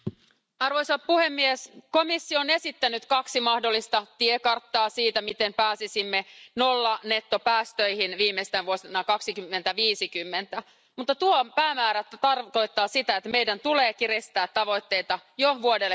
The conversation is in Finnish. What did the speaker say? Arvoisa puhemies, komissio on esittänyt kaksi mahdollista tiekarttaa siitä, miten pääsisimme nollanettopäästöihin viimeistään vuonna 2050, mutta tuo päämäärä tarkoittaa sitä, että meidän tulee kiristää tavoitteita jo vuodelle